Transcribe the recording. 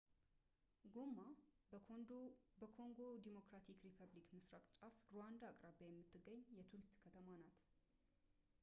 ጎማ በኮንጎ ዲሞክራቲክ ሪፐብሊክ ምስራቅ ጫፍ ሩዋንዳ አቅራቢያ የምትገኝ የቱሪስት ከተማ ናት